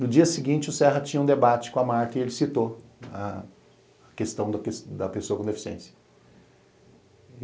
No dia seguinte, o Serra tinha um debate com a Marta e ele citou a questão da pessoa com deficiência.